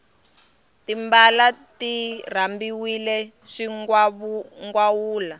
timbala ti rambiwe swingawula